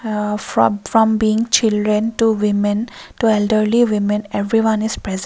aa from from being children to women to elderly women everyone is present.